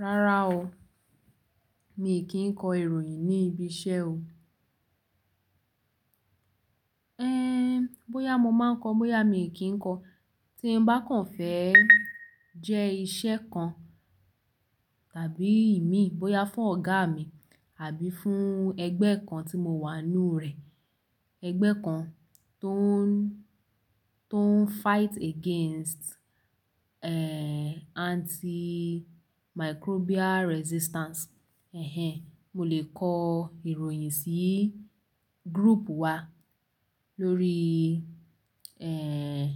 Rárá o, mi kìí kọ ìròyìn ní ibi iṣẹ́ o. Ẹ́n! Bóyá mo máa ń kọ, bóyá mi kìi kọ, tí n bá kàn fẹ́ jẹ́ iṣẹ́ kan tàbí imi, bóyá fún ọ̀gá mi àbí fún ẹgbẹ́ kan tí mo wà nú rẹ̀. Ẹgbẹ́ kan tó ń, tó ń fight against, ẹ́ẹ́, antimicrobial resistance. Ẹ̀hẹn, mo lè kọ ìròyìn sí group wa lórí, ẹ́ẹ́,